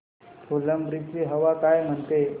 फुलंब्री ची हवा काय म्हणते